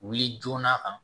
Wuli joona kan